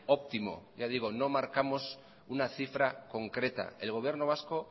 óptimo ya digo no marcamos una cifra concreta el gobierno vasco